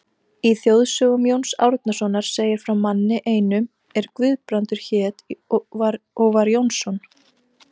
Í þjóðsögum Jóns Árnasonar segir frá manni einum er Guðbrandur hét og var Jónsson.